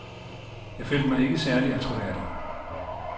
Jeg følte mig ikke særlig attråværdig.